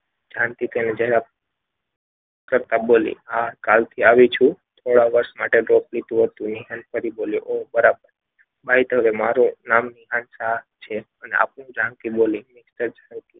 જાનકી કહે જરાક. કરતા બોલી હા કાલથી આવી છું થોડાક વર્ષ માટે ફરી બોલ્યો ઓહ બરાબર. by the way મારું નામ વિધાન શાહ છે. અને આપનું જાનકી બોલી.